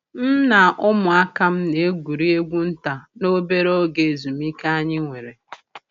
m na umuaka'm na egwuregwu nta n'obere oge ezumike anyi nwere.